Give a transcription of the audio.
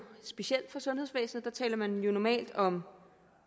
specielt for sundhedsvæsenet der taler man jo normalt om